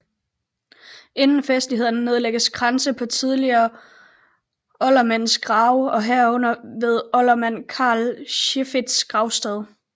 Inden festlighederne nedlægges kranse på tidligere oldermænds grave herunder ved oldermand Carl Seiferts gravsted